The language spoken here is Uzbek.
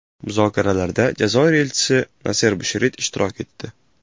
Muzokaralarda Jazoir elchisi Naser Busherit ishtirok etdi.